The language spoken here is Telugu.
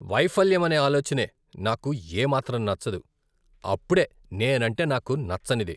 వైఫల్యం అనే ఆలోచనే నాకు ఏ మాత్రం నచ్చదు, అప్పుడే నేనంటే నాకు నచ్చనిది.